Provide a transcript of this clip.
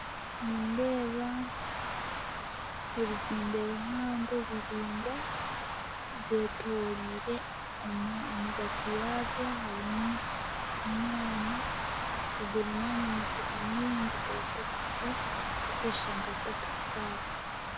Nindeeba ebizimbe bihango biraingwa byetoreire amwagati yaabyo harimu omwanya ogurimu ama motoka mingi ga takisi gokushusha nka takisi paaka